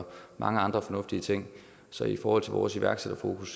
mange andre fornuftige ting så i forhold til vores iværksættere